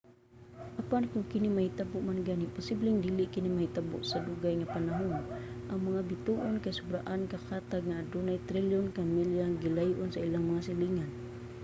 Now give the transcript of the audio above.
apan kon kini mahitabo man gani posibleng dili kini mahitabo sa dugay nga panahon. ang mga bituon kay sobraan ka katag nga adugay trilyon ka milya ang gilay-on sa ilang mga silingan